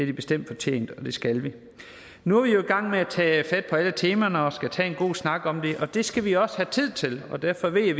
de bestemt fortjent og det skal vi nu er vi jo i gang med at tage fat på alle temaerne og skal have en god snak om det og det skal vi også have tid til og derfor ved jeg